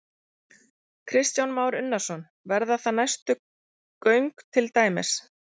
Kristján Már Unnarsson: Verða það næstu göng til dæmis?